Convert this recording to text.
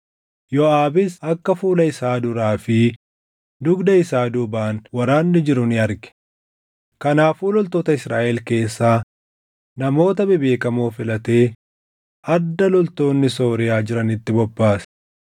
Yooʼaabis akka fuula isaa duraa fi dugda isaa duubaan waraanni jiru ni arge; kanaafuu loltoota Israaʼel keessaa namoota bebeekamoo filatee adda loltoonni Sooriyaa jiranitti bobbaase.